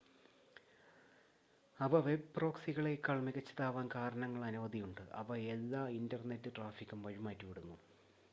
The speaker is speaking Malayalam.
അവ വെബ് പ്രോക്സികളെക്കാൾ മികച്ചതാവാൻ കാരണങ്ങൾ അനവധിയുണ്ട് അവ എല്ലാ ഇൻറ്റർനെറ്റ് ട്രാഫിക്കും വഴിമാറ്റിവിടുന്നു http മാത്രമല്ല